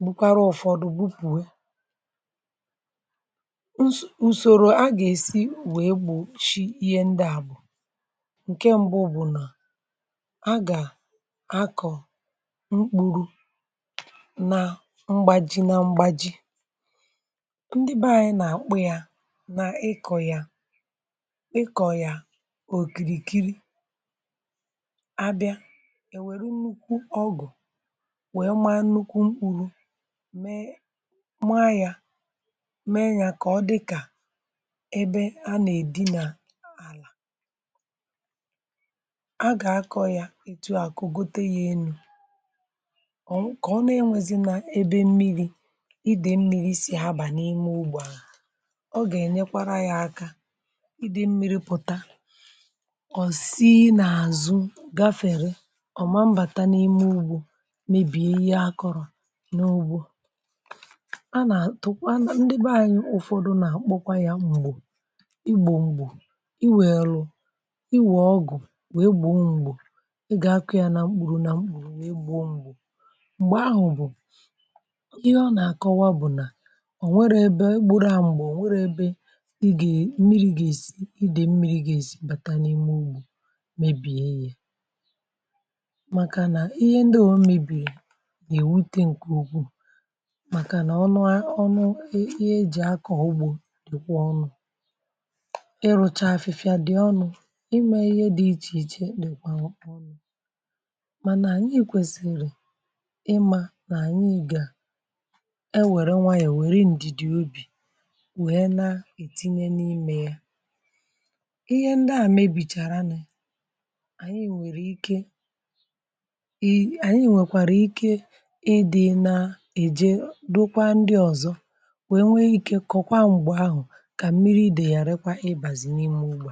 n’ụkwara. Ụ̀fọdụ bupùwe ụzọ, a gà-èsi wee gbochie ihe ndị a. um Bùrù nke mbu bụ̀ nà a gà-akọ mkpụrụ na mgbà ji, na mgbà ji, n’ịkọ̀ yà. Ịkọ̀ yà òkìrìkiri, abịa, èwère nnukwu ọgụ̀, wee maa nnukwu mkpụrụ. Mee màà yà, mee yà ka ọ dịkà ebe a nà-èdinà àlà. A gà-akọ̀ yà, ètù àkụ gote yà elu̇ ọ̀, ka ọ na-enwezịnà ebe mmiri idè, mmiri sì abà n’ime ugbò um Ịdị mmiri pụta, ọ̀ sì n’àzụ gafèrè, ọ̀ ma mbàtà n’ime ugbò, mèbì ihe akọ̀rọ̀ n’ugbò. A nà-atụkwa ndị be anyị Ụ̀fọdụ nà-àkpọkwa yà mgbò, ịgbọ mgbò, i wèe lụ̀, i wọ̀ ọgụ̀, wèe gbọ mgbò... Ị gà-akọ yà nà mkpụrụ nà mgbò. Ị gbọ mgbò, mgbò ahụ̀ bụ̀ ihe ọ nà-àkọwa, bụ̀ nà mmiri gà-èsi idè, mmiri gà-èsi bàta n’ime ugbò, mèbìe ya. Màkà nà ihe ndị ò mèbìrì nà èwute nke ogwù, màkà nà ọnụ e jì akọ̀ ugbò dịkwa ọnụ̇. Ịrụchà afịfịa dị ọnụ̇, ịmà ihe dị iche iche dịkwa ọnụ̇... Mànà anyị kwesìrì ịmà nà, um anyị gà-enwè nwayọ̀, wère ndị dị obì, um ihe ndị a mèbìchàrà, nà ànyị nwèrè ike. um Ànyị nwèkwàrà ike ịdị̇ nà-èje, um dokwa ndị ọzọ, nwè nwe ike, kọ̀kwa ǹgbè ahụ̀, ka mmiri idè yàrẹkwa, um ịbàzị̀ n’ịmụ̇ ugbà.